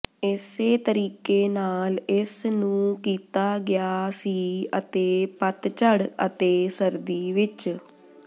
ਇਸੇ ਤਰੀਕੇ ਨਾਲ ਇਸ ਨੂੰ ਕੀਤਾ ਗਿਆ ਸੀ ਅਤੇ ਪਤਝੜ ਅਤੇ ਸਰਦੀ ਵਿੱਚ